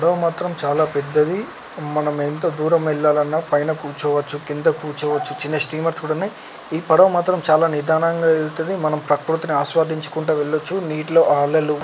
ఈ పడవ మాత్రం చాలా పెద్దది. మనం ఎంత దూరం ఎల్లాలన్న పైన కూర్చోవచ్చు కింద కూర్చోవచ్చు. చిన్న స్టీమర్స్ కూడా ఉన్నయ్. ఈ పడవ మాత్రం చాలా నిదానంగా ఎల్తది. మనం ప్రకృతిని ఆస్వాదించుకుంట వెళ్ళచ్చు. నీటిలో ఆ అలలు